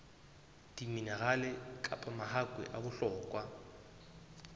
diminerale kapa mahakwe a bohlokwa